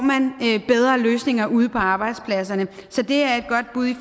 bedre løsninger ude på arbejdspladserne så det er et godt bud i